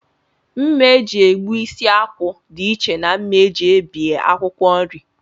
Mma e ji egbu isi akwụ dịiche na mma e ji ebie akwụkwọ nri